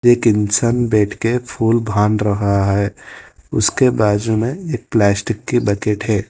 एक इंसान बैठ के फूल बांध रहा है उसके बाजू में एक प्लास्टिक के बकेट है।